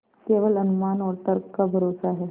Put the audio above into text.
केवल अनुमान और तर्क का भरोसा है